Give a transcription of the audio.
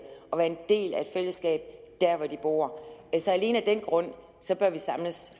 og være en del af et fællesskab der hvor de bor alene af den grund bør vi samles